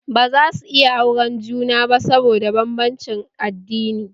Ba zasu iya auren juna ba saboda banbancin addini